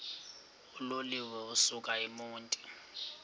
uloliwe ukusuk emontini